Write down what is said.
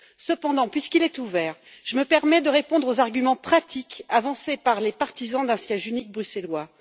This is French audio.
Cependant, puisqu'il est ouvert, je me permets de répondre aux arguments pratiques avancés par les partisans d'un siège unique bruxellois.